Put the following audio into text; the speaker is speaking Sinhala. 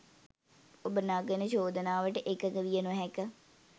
ඔබ නගන චෝදනාවට එකඟ විය නොහැක.